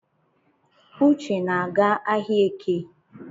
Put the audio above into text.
Uche na-aga ahịaeke